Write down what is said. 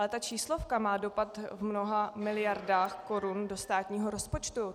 Ale ta číslovka má dopad v mnoha miliardách korun do státního rozpočtu.